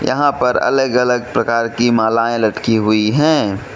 यहां पर अलग अलग प्रकार की मालाएं लटकी हुई है।